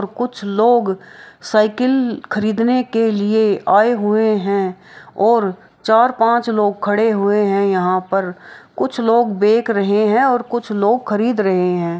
और कुछ लोग साइकिल खरीदने के लिए आए हुए है और चार -पाँच लोग खड़े हुए है यहाँ पर कुछ लोग देख रहे है और कुछ लोग खरीद रहे है।